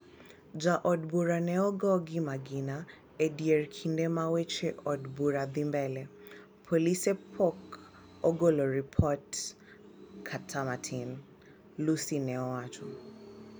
ja od bura ne ogo gi magina e dier kinde ma weche od bura dhi mbele, polise po ogolo ripot kata matin, " Lussi ne owacho